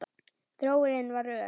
Þróunin var ör.